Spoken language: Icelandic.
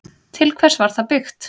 Til hvers var það byggt?